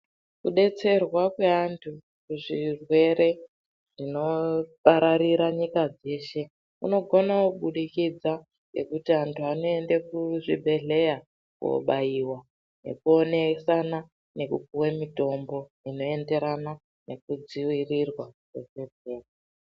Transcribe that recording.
Kudetserwa kwaantu kuzvirwere zvinopararira nyika dzeshe kunogone kubudikidza ngekuti antu anoende kuzvibhedhleya kobaiwa nekuonesana nekupuwe mutombo unoenderana nekudzirirwa mukhuhlani.